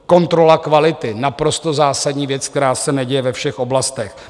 Kontrola kvality - naprosto zásadní věc, která se neděje ve všech oblastech.